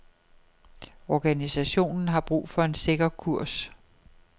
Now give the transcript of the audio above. Organisationen har brug for en sikker kurs.